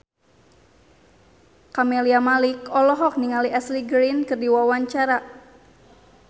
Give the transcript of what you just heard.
Camelia Malik olohok ningali Ashley Greene keur diwawancara